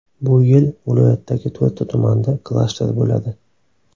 Bu yil viloyatdagi to‘rtta tumanda klaster bo‘ladi.